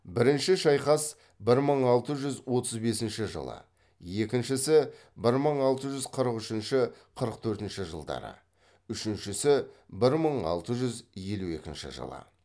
бірінші шайқас бір мың алты жүз отыз бесінші жылы екіншісі бір мың алты жүз қырық үшінші қырық төртінші жылдары үшіншісі бір мың алты жүз елу екінші жылы